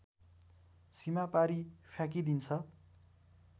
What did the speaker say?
सीमापारी फ्याँकिदिन्छ